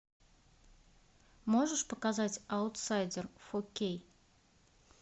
можешь показать аутсайдер фо кей